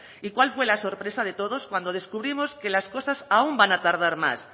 y cuál fue la sorpresa de todos cuando descubrimos que las cosas aún van a tardar más